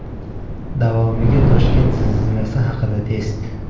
Davomiga Toshkent zilzilasi haqida test .